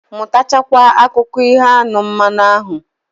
Mutacha kwa akụko iho anu, manu ahu